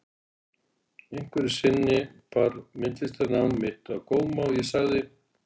Einhverju sinni bar myndlistarnám mitt á góma og ég sagði